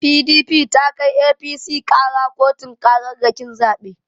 PDP ta kai APC ƙara kotun ƙararrakin zabe.